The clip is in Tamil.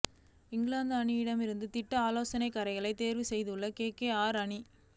இங்கிலாந்து அணியிலிருந்து திட்ட ஆலோசகரைத் தேர்வு செய்துள்ள கேகேஆர் அணி